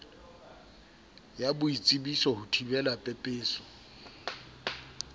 ya boitsebiso ho thibela pepeso